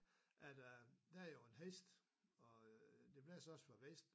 At øh der jo en hest og øh det blæser også fra vest